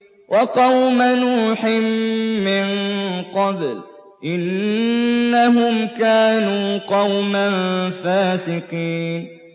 وَقَوْمَ نُوحٍ مِّن قَبْلُ ۖ إِنَّهُمْ كَانُوا قَوْمًا فَاسِقِينَ